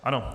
Ano.